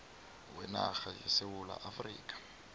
wenarha yesewula afrika